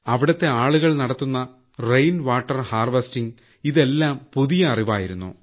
അവിടുത്തെ ആളുകൾ നടത്തുന്ന റെയിൻ വാട്ടർ ഹാർവെസ്റ്റിങ് ഇതെല്ലാം പുതിയ അറിവായിരുന്നു